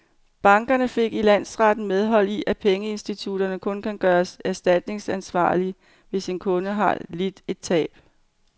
Banken fik i landsretten medhold i, at pengeinstitutter kun kan gøres erstatningsansvarlige, hvis en kunde har lidt et tab.